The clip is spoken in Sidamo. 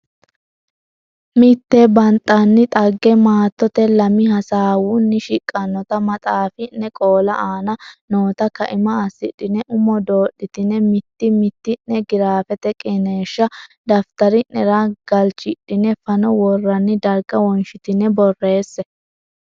Mitte banxanni dhagge maattote lami hasaawunni shiqqannota maxaafine qoola aana noota kaima assidhine umo doodhitine mitti mitti ne giraafete qiniishsha daftari nera galchidhine fano worroonni darga wonshitine borreesse.